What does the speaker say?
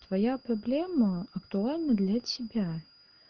твоя проблема актуальна для тебя